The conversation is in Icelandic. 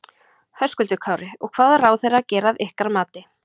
Höskuldur Kári: Og hvað á ráðherra að gera að ykkar mati?